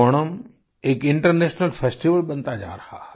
ओणम एक international festival बनता जा रहा है